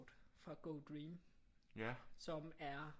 Fra GoDream som er